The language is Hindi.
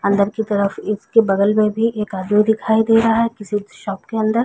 अंदर की तरफ इसके बगल में भी एक आदमी दिखाई दे रहा है किसी शॉप के अंदर।